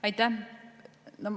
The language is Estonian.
Aitäh!